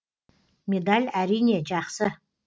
медаль әрине жақсы